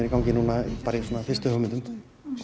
fyrstu hugmyndum